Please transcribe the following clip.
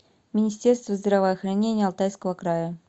министерство здравоохранения алтайского края